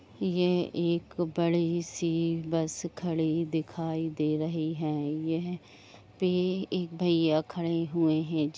यह एक बड़ी सी बस खड़ी दिखाई दे रही है यहाँ पे एक भइया खड़े हुए है।